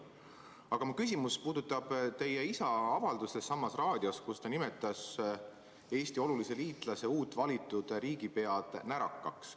Aga mu küsimus puudutab teie isa avaldust samas raadiosaates, kus ta nimetas Eesti olulise liitlase uut valitud riigipead närakaks.